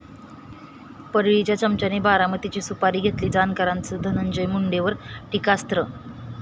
परळी'च्या चमच्याने 'बारामती'ची सुपारी घेतली, जानकरांचं धनंजय मुंडेंवर टीकास्त्र